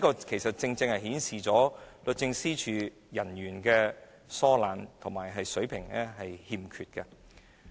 這正正顯示出律政司人員疏懶及欠缺水平。